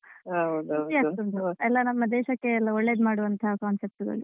ಖುಷಿಯಾಗ್ತಾ ಉಂಟು ಎಲ್ಲ ನಮ್ಮ ದೇಶಕ್ಕೆ ಒಳ್ಳೇದು ಮಾಡುವಂತ concept ಗಳು.